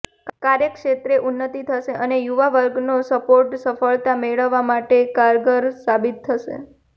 કાર્યક્ષેત્રે ઉન્નતિ થશે અને યુવા વર્ગનો સપોર્ટ સફળતા મેળવવા માટે કારગર સાબિત થશે